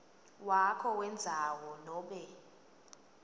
wakho wendzawo nobe